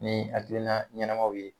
Ni hakilina ɲɛnamaw ye.